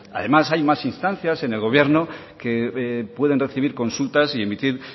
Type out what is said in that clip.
además hay más instancias en el gobierno que puede recibir consultar y emitir